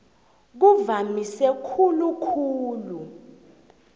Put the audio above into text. kuvamise khulu khulu